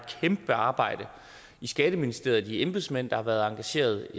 kæmpe arbejde i skatteministeriet blandt de embedsmænd der har været engageret